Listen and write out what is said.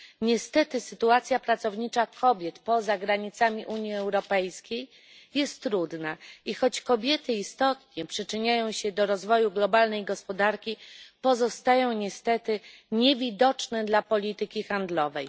Niestety sytuacja pracownicza kobiet poza granicami Unii Europejskiej jest trudna i choć kobiety istotnie przyczyniają się do rozwoju globalnej gospodarki, pozostają niewidoczne dla polityki handlowej.